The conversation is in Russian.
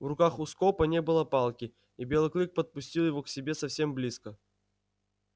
в руках у скопа не было палки и белый клык подпустил его к себе совсем близко